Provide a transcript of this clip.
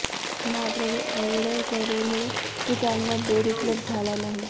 मात्र एवढं करुनही त्यांंना बेड उपलब्ध झाला नाही